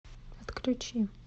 отключи